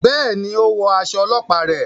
Béèni, o wọ aṣọ ọlọpa rẹ